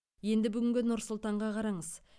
енді бүгінгі нұр сұлтанға қараңыз